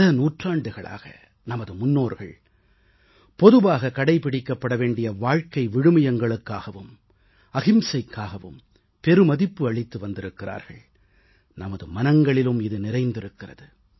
பல நூற்றாண்டுகளாக நமது முன்னோர்கள் பொதுவாக கடைபிடிக்கப்பட வேண்டிய வாழ்க்கை விழுமியங்களுக்காகவும் அஹிம்சைக்காகவும் பெருமதிப்பு அளித்து வந்திருக்கிறர்கள் நமது மனங்களிலும் இது நிறைந்திருக்கிறது